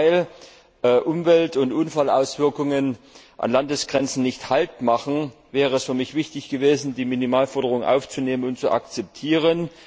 Aber gerade weil Umwelt und Unfallauswirkungen an Landesgrenzen nicht haltmachen, wäre es für mich wichtig gewesen, die Minimalforderungen aufzunehmen und zu akzeptieren.